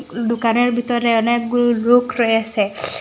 দুকানের ভিতরে অনেকগুলো লুক রয়েসে।